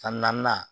San naaninan